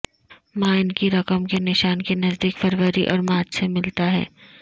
mine کی رقم کے نشان کے نزدیک فروری اور مارچ سے ملتا ہے